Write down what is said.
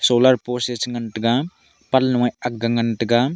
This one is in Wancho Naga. solar post ye chi ngantaga panloye agga ngantaga.